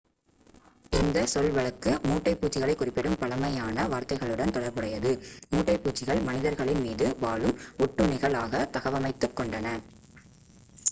இந்தச் சொல் வழக்கு மூட்டைப் பூச்சிகளை குறிப்பிடும் பழமையான வார்த்தைகளுடன் தொடர்புடையது மூட்டைப்பூச்சிகள் மனிதர்களின் மீது வாழும் ஒட்டுண்ணிகள் ஆக தகவமைத்துக் கொண்டன